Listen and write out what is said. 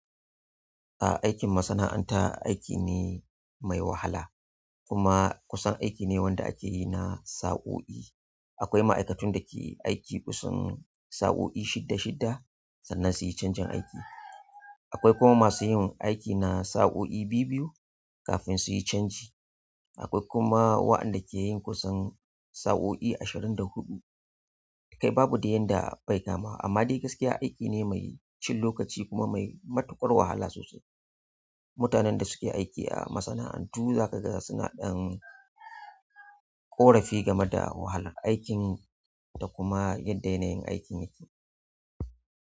Ah, aikin masana'anta aiki ne mai wahala kuma kusan aiki ne da ake yi na sa'oi. Akwai ma'aikatun da ke aiki kusan sa'o'i shida shida sannan su yi canjin aiki. Akwai kuma masu yin aiki na sa'o'i biyu biyu kafin su yi canji. Akwai kuma waɗanda ke yin kusan sa'o'i ashirin da huɗu. Kai babu da yanda bai kama amma dai gaskiya aiki ne mai cin lokaci kuma mai matuƙar wahala sosai. Mutanen da suke aiki a masana'antu za ka ga suna ɗan ƙorafi game da wahalar aikin da kuma yadda yanayin aikin yake.